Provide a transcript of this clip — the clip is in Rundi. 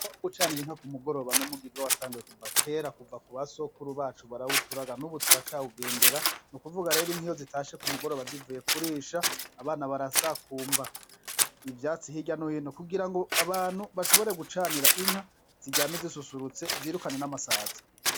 Umugirwa wo gucanir'inka k'umugoroba n'umugirwa watanguye kuva kera na basogokuru barawuturaga ,n'ubu turacawugendera n'ukuvuga rero iyo inka zitashe k'umugoroba zivuye kurisha abana barasakumba ivyatsi hirya no hino kugirango abantu bashobore gucanira ziryame zisusurutse birukane n'amasazi.